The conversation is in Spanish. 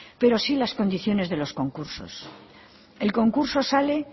pero sí las condiciones de los concursos el concurso sale